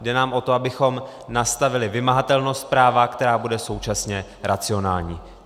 Jde nám o to, abychom nastavili vymahatelnost práva, která bude současně racionální.